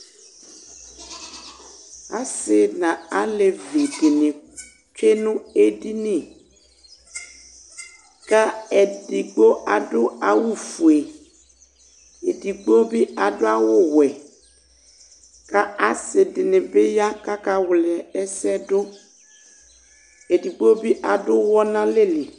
assï na alévĩ dïni tsũe nũ édinï kă édigbo adũ awʊ fũé édigbo bi adũ awʊ wuɛ kă assi dini bi ya kaka wla ɛsɛ dũ ɛdigbo bi adũɔ nalɛli